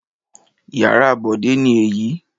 Ìyàrá Bọ̀dé ni èyí.